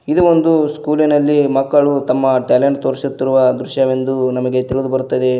ಇದು ಒಂದು ಸ್ಕೂಲಿನಲ್ಲಿ ಮಕ್ಕಳು ತಮ್ಮ ಟ್ಯಾಲೆಂಟ್ ತೋರಿಸುತ್ತಿರುವ ದೃಶ್ಯವೆಂದು ನಮಗೆ ತಿಳಿದು ಬರುತ್ತದೆ.